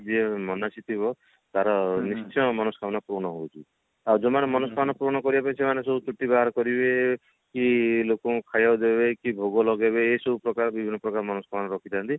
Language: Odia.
ଯିଏ ମନାସି ଥିବ ତାର ନିଶ୍ଚୟ ମନସ୍କାମନା ପୂରଣ ହଉଛି ଆଉ ଯୋଉ ମାନେ ମନସ୍କାମନା ପୂରଣ କରିବା ପାଇଁ ସେମାନେ ସବୁ ଚୁଟି ବାହାର କରିବେ କି ଲୋକଙ୍କୁ ଖାଇବାକୁ ଦେବେ କି ଭୋଗ ଲଗେଇବେ ଏ ସବୁ ପ୍ରକାର ବିଭିନ୍ନ ପ୍ରକାର ମନସ୍କାମନା ରଖିଥାନ୍ତି